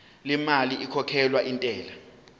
lemali ekhokhelwa intela